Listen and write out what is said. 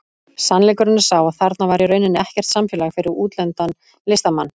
Sannleikurinn er sá að þarna var í rauninni ekkert samfélag fyrir útlendan listamann.